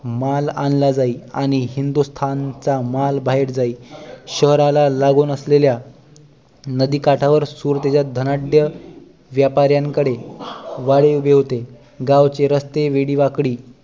माल आणला जाई आणि हिंदुस्थानचा माल बाहेर जाई शहराला लागून असलेल्या नदी काठावर सुरतेच्या धनाढ्य व्यापऱ्यांकडे गाडे उभे होते गावचे रस्ते वेडीवाकडी